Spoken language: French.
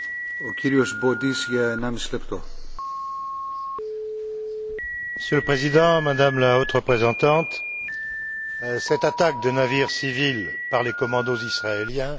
Monsieur le Président, Madame la Haute représentante, cette attaque de navires civils par les commandos israéliens exige évidemment une enquête impartiale et crédible.